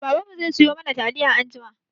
Baban mu zai siyo mana taliya anjima.